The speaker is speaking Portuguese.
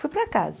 Fui para casa.